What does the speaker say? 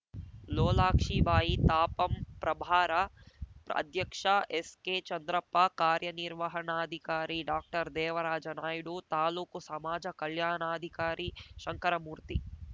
ಲೋಲಾಕ್ಷಿಬಾಯಿ ತಾಪಂ ಪ್ರಭಾರ ಅಧ್ಯಕ್ಷ ಎಸ್‌ಕೆ ಚಂದ್ರಪ್ಪ ಕಾರ್ಯನಿರ್ವಹಣಾಧಿಕಾರಿ ಡಾಕ್ಟರ್ದೇವರಾಜ ನಾಯ್ಡು ತಾಲೂಕು ಸಮಾಜ ಕಲ್ಯಾಣಾಧಿಕಾರಿ ಶಂಕರಮೂರ್ತಿ